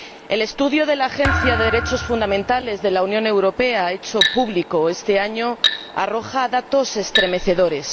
El estudio de la Agencia de los Derechos Fundamentales de la Unión Europea hecho público este año arroja datos estremecedores.